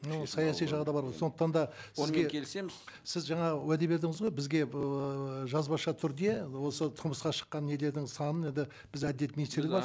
ол саяси жағы да бар ғой сондықтан да сізбен келісеміз сіз жаңа уәде бердіңіз ғой бізге ыыы жазбаша түрде осы тұрмысқа шыққан нелердің санын енді бізде әділет министрлігі бар